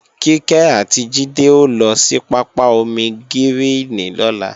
Kíkẹ́ àti Jídé ó lọ sí pápá ómígíríìnì lọ́la